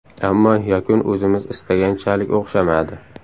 Ammo yakun o‘zimiz istaganchalik o‘xshamadi.